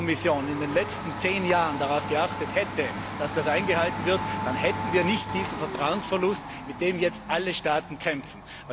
Wenn die Kommission in den letzten zehn Jahren darauf geachtet hätte, dass das eingehalten wird, dann hätten wir nicht diesen Vertrauensverlust, mit dem jetzt alle Staaten kämpfen.